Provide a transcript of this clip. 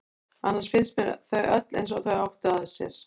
Annars finnst mér þau öll eins og þau áttu að sér.